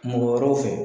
Mɔgɔ wɛrɛw fɛ